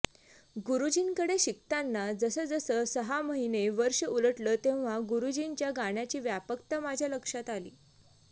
गुरुजींकडे शिकताना जसजसं सहा महिने वर्ष उलटलं तेव्हा गुरुजींच्या गाण्याची व्यापकता माझ्या लक्षात आली